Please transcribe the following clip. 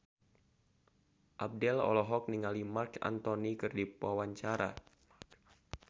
Abdel olohok ningali Marc Anthony keur diwawancara